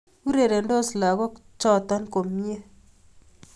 Urerendos lagok choto komnye